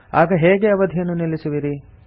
ಆಗ ಹೇಗೆ ಅವಧಿಯನ್ನು ನಿಲ್ಲಿಸುವಿರಿ